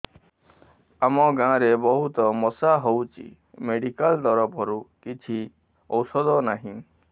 ଆମ ଗାଁ ରେ ବହୁତ ମଶା ହଉଚି ମେଡିକାଲ ତରଫରୁ କିଛି ଔଷଧ ନାହିଁ